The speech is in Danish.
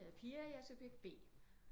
Jeg er Pia jeg er subjekt B